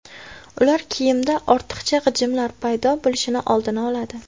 Ular kiyimda ortiqcha g‘ijimlar paydo bo‘lishini oldini oladi.